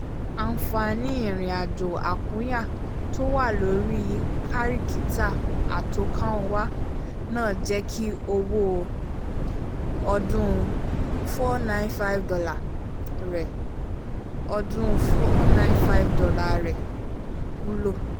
ànfààní irinàjò àkúnya tó wà lórí kárìkítà àtọkànwá náà jẹ́ kí owó ọdún $ four hundred ninety five rẹ̀ ọdún $ four hundred ninety five rẹ̀ wúlò